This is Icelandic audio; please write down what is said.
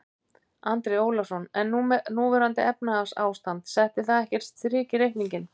Andri Ólafsson: En núverandi efnahagsástand, setti það ekkert strik í reikninginn?